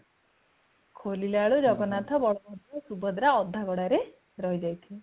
ଖୋଲିଲାବେଳକୁ ଜଗନ୍ନାଥ, ବଳଭଦ୍ର, ସୁଭଦ୍ରା ଅଧା ଗଢା ରେ ରହି ଯାଇଥିବେ |